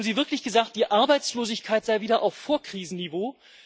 Haben Sie wirklich gesagt, die Arbeitslosigkeit sei wieder auf Vorkrisenniveau?